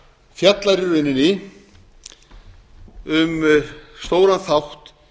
fjallar í rauninni um stóran þátt